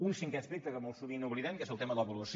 un cinquè aspecte que molt sovint oblidem que és el tema de l’avaluació